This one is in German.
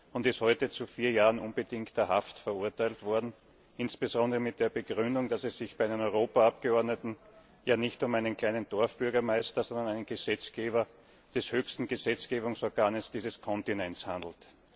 und ist heute zu vier Jahren unbedingter Haft verurteilt worden, insbesondere mit der Begründung, dass es sich bei einem Europaabgeordneten nicht um einen kleinen Dorfbürgermeister, sondern um einen Gesetzgeber des höchsten Gesetzgebungsorganes dieses Kontinents handelt.